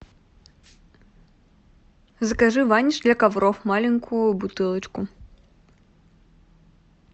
закажи ваниш для ковров маленькую бутылочку